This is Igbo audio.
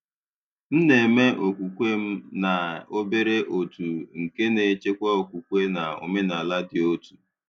M na-eme okwukwe m na obere òtù nke na-echekwa okwukwe na omenala dị otu.